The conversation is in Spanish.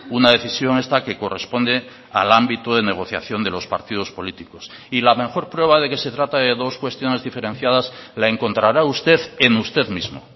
una decisión esta que corresponde al ámbito de negociación de los partidos políticos y la mejor prueba de que se trata de dos cuestiones diferenciadas la encontrará usted en usted mismo